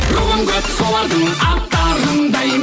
руым көп солардың аттарындай